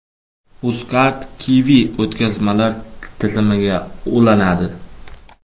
UzCard Qiwi o‘tkazmalar tizimiga ulanadi.